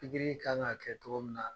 kan k'a kɛ togo min na